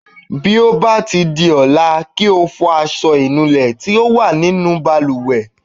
Bí ó bá di ọ̀la, kí o fọ aṣọ ìnulẹ̀ tí ó wà ní inú balùwẹ̀.